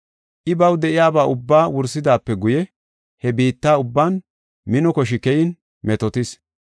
I baw de7iyaba ubba wursidaape guye he biitta ubban mino koshi keyin metootis.